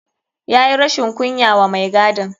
Ya yi rashin kunya wa mai gadin.